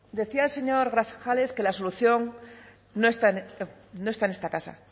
decía el señor grajales que la solución no está en esta casa